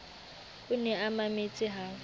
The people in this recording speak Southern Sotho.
o ne a mametse ha